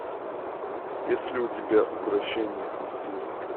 есть ли у тебя укрощение наследника